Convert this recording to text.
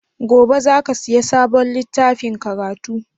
Gobe za ka siya sabon littafin karatu?